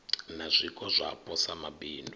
na zwiko zwapo sa mabindu